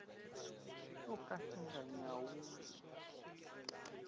xo ka xi nga nyawuli